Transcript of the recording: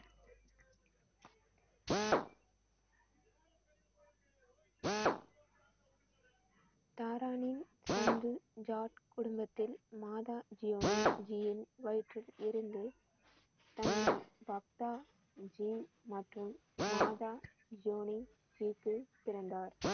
தாரானில் சந்து ஜாட் குடும்பத்தில் மாதா ஜியோனி ஜியின் வயிற்றில் இருந்து தந்தை பக்தாஜி மற்றும் மாதா ஜியோனி வீட்டில் பிறந்தார்.